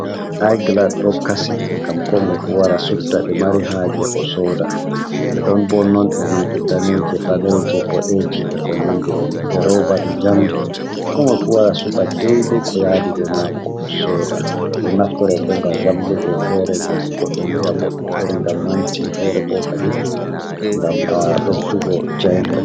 Da glas do kasi gam ko moi fu wara subta de mari haje o soda de don bo nonde nonde daneje, baleje, bodeje e ko nandi be nonde e roba be jamdi ko moi fu wara subta daide ko yadibe mako o soda do naftoro bo gam vallugo fere gam godo yi'a bodɗum fere ngam manti fere bokalim gam a besdugo jaingol.